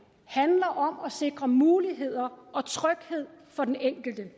handler om at sikre muligheder og tryghed for den enkelte